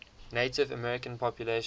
native american population